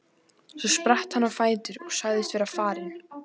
Svo spratt hann á fætur og sagðist vera farinn.